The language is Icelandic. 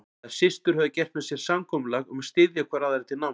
Þær systur höfðu gert með sér samkomulag um að styðja hvor aðra til náms.